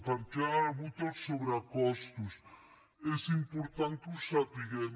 per què hi ha hagut els sobrecostos és important que ho sapiguem